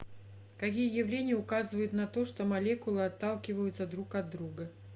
какие явления указывают на то что молекулы отталкиваются друг от друга